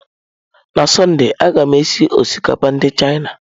N'sọnde, a ga m esi osikapa ndị Chịana.